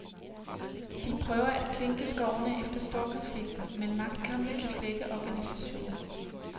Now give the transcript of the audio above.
De prøver at klinke skårene efter storkonflikten, men magtkampe kan flække organisationen.